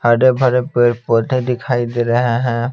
हरे भरे पेड़ पौधे दिखाई दे रहे है।